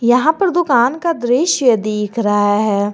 यहां पर दुकान का दृश्य दिख रहा है।